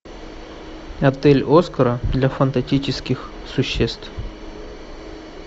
отель оскара для фантастических существ